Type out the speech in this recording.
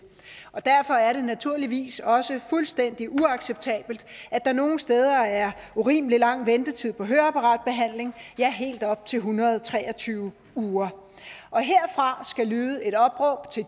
derfor er det naturligvis også fuldstændig uacceptabelt at der nogle steder er urimelig lang ventetid på høreapparatbehandling ja helt op til en hundrede og tre og tyve uger og herfra skal lyde et opråb til